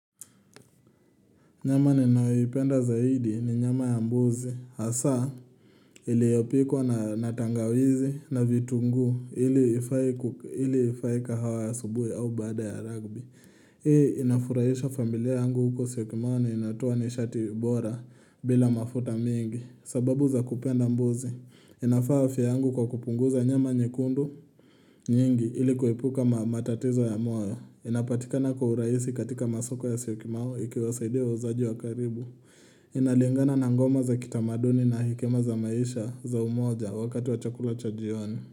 Nyama ninyoipenda zaidi ni nyama ya mbuzi. Hasa iliyopikwa na tangawizi na vitunguu ili ifae kahawa ya asubuhi au baada ya rugby. Hii inafuraisha familia yangu huko syokimau na inatoa nishati bora bila mafuta mengi. Sababu za kupenda mbuzi. Inafaa afya yangu kwa kupunguza nyama nyekundu nyingi ili kuepuka matatizo ya moyo. Inapatikana kwa uraisi katika masoko ya Syokimau ikiwasaidia wauzaji wa karibu Inalingana na ngoma za kitamaduni na hekima za maisha za umoja wakati wa chakula cha jioni.